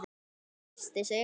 Amma byrsti sig.